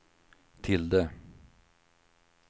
tilde